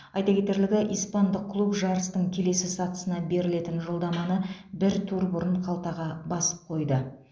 айта кетерлігі испандық клуб жарыстың келесі сатысына берілетін жолдаманы бір тур бұрын қалтаға басып қойды